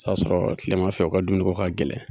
O y'a sɔrɔ tilema fɛ u ka dumuni ko ka gɛlɛn